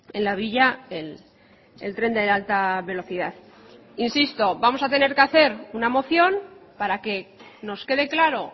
en la villa el tren de alta velocidad insisto vamos a tener que hacer una moción para que nos quede claro